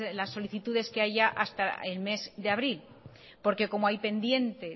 las solicitudes que haya hasta el mes de abril por que como hay pendientes